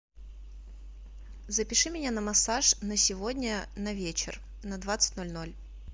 запиши меня на массаж на сегодня на вечер на двадцать ноль ноль